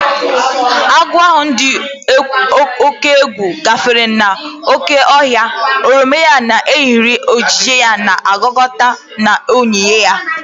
Agụ ahụ dị egwu gafere n'oké ọhịa, oroma ya na eriri ojii na-agwakọta na onyinyo ya.